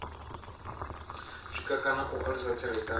sikwa kana u alusa tserekano